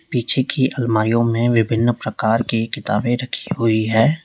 पीछे की अलमारियों में विभिन्न प्रकार की किताबें रखी हुई हैं।